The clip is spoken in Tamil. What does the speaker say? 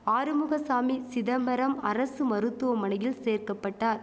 ஆறுமுகசாமி சிதம்பரம் அரசு மருத்துவமனையில் சேர்க்கபட்டார்